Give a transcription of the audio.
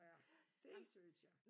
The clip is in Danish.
Ja det synes jeg